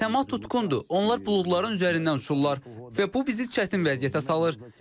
Səma tutqundur, onlar buludların üzərindən uçurlar və bu bizi çətin vəziyyətə salır.